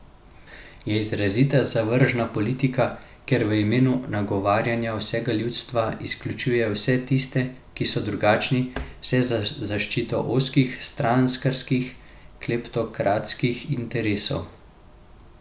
Je izrazito zavržna politika, ker v imenu nagovarjanja vsega ljudstva izključuje vse tiste, ki so drugačni, vse za zaščito ozkih, strankarskih, kleptokratskih interesov.